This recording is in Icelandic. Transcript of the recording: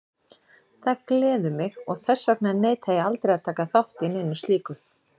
Það gleður mig og þess vegna neita ég aldrei að taka þátt í neinu slíku.